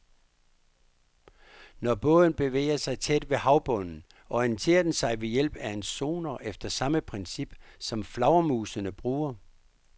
Når båden bevæger sig tæt ved havbunden, orienterer den sig ved hjælp af en sonar efter samme princip, som flagermusene bruger.